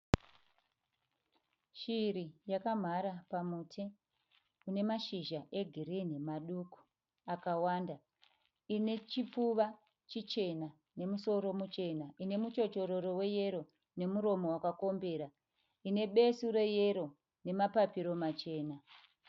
Shiri yakamhara pamuti une mashizha egirinhi maduku akawanda. Ine chipfuva chichena nemusoro muchena. Ine muchochororo weyero nemuromo wakakombera. Ine besu reyero nemapapiro machena.